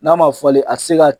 N'a ma falen, a ti se ka